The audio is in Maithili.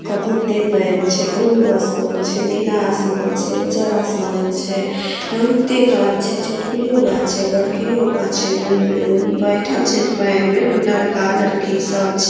बहुते पेऐन छै ब्लू आसमान छै नीला आसमान छै उज्जर आसमान छै बहुते गाछ छै छोटकियो गाछ छै बड़कियो गाछ छै बैठएल छै जे पेऐन में ओय मे लड़का लड़की सब छै।